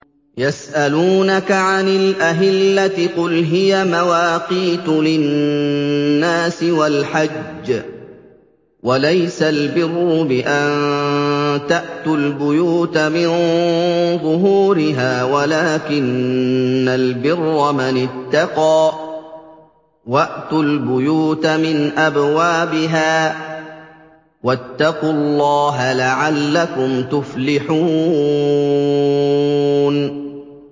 ۞ يَسْأَلُونَكَ عَنِ الْأَهِلَّةِ ۖ قُلْ هِيَ مَوَاقِيتُ لِلنَّاسِ وَالْحَجِّ ۗ وَلَيْسَ الْبِرُّ بِأَن تَأْتُوا الْبُيُوتَ مِن ظُهُورِهَا وَلَٰكِنَّ الْبِرَّ مَنِ اتَّقَىٰ ۗ وَأْتُوا الْبُيُوتَ مِنْ أَبْوَابِهَا ۚ وَاتَّقُوا اللَّهَ لَعَلَّكُمْ تُفْلِحُونَ